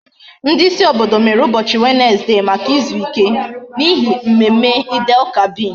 Ndi isi obodo mere ubochi Wednesday Maka izuike, n'ihi mmemme Eid El kabir